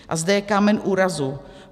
A zde je kámen úrazu.